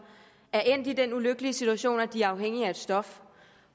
er endt i den ulykkelige situation at de er afhængige af et stof